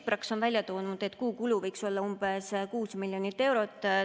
Praxis on välja toonud, et kuukulu võiks olla umbes 6 miljonit eurot.